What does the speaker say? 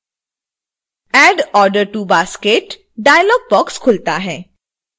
add order to basket dialogue box खुलता है